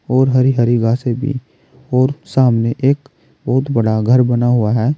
और हरी हरी घासें भी और सामने एक बहुत बड़ा घर बना हुआ है।